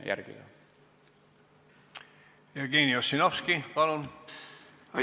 Jevgeni Ossinovski, palun!